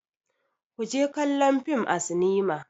Ku je kallo fim a sinima.